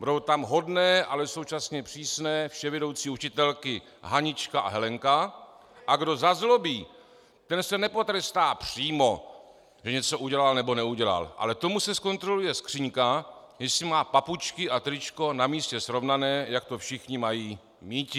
Budou tam hodné, ale současně přísné vševědoucí učitelky Hanička a Helenka, a kdo zazlobí, ten se nepotrestá přímo, že něco udělal nebo neudělal, ale tomu se zkontroluje skříňka, jestli má papučky a tričko na místě srovnané, jak to všichni mají míti.